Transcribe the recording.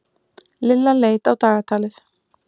Lilla leit á dagatalið.